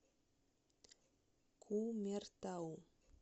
кумертау